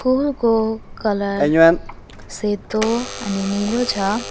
School को colour सेतो अनि नीलो छ।